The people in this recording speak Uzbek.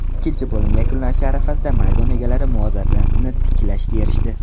Ikkinchi bo‘lim yakunlanishi arafasida maydon egalari muvozanatni tiklashga erishdi.